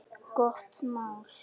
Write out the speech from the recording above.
Gott mál.